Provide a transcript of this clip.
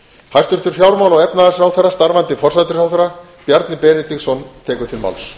hæstvirts fjármála og efnahagsráðherra starfandi forsætisráðherra bjarni benediktsson tekur til máls